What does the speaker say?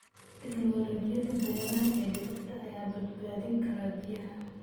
Tiknoolajiyada beeraha ee dhibicda ayaa badbaadin kara biyaha.